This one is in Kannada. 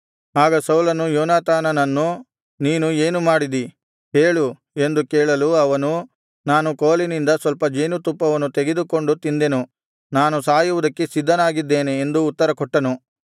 ಆಗ ಸೌಲನು ಯೋನಾತಾನನನ್ನು ನೀನು ಏನು ಮಾಡಿದಿ ಹೇಳು ಎಂದು ಕೇಳಲು ಅವನು ನಾನು ಕೋಲಿನಿಂದ ಸ್ವಲ್ಪ ಜೇನುತುಪ್ಪವನ್ನು ತೆಗೆದುಕೊಂಡು ತಿಂದೆನು ನಾನು ಸಾಯುವುದಕ್ಕೆ ಸಿದ್ಧನಾಗಿದ್ದೇನೆ ಎಂದು ಉತ್ತರಕೊಟ್ಟನು